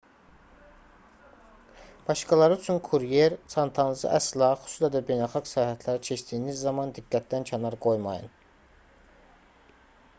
başqaları üçün kuryer çantanızı əsla xüsusilə də beynəlxalq sərhədləri keçdiyiniz zaman diqqətdən kənar qoymayın